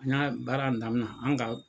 An ɲa baara in damina an ka.